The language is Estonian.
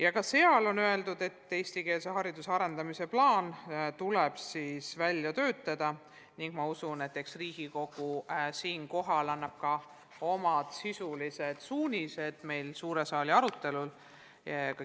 Arengukavas on öeldud, et eestikeelse hariduse arendamise plaan tuleb välja töötada, ning ma usun, et eks Riigikogu annab suure saali arutelul ka omad suunised.